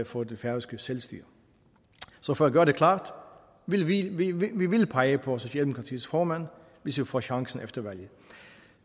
for det færøske selvstyre så for at gøre det klart vi vi vil pege på socialdemokratiets formand hvis vi får chancen efter valget